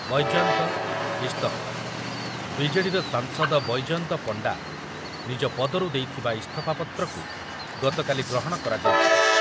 ବୈଜୟନ୍ତ ଇସ୍ତଫା, B J D ର ସାଂସଦ ବୈଜୟନ୍ତ ପଣ୍ଡା ନିଜ ପଦରୁ ଦେଇଥିବା ଇସ୍ତଫା ପତ୍ରକୁ ଗତକାଲି ଗ୍ରହଣ କରାଯାଇଛି ।